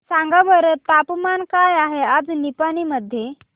सांगा बरं तापमान काय आहे आज निपाणी मध्ये